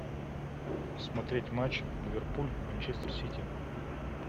смотреть матч ливерпуль манчестер сити